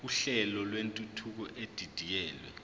uhlelo lwentuthuko edidiyelwe